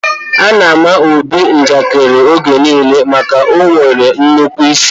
A na àmà Obi njakiri oge niile maka na ọ nwere nnukwu ịsị